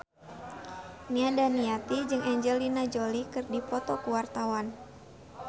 Nia Daniati jeung Angelina Jolie keur dipoto ku wartawan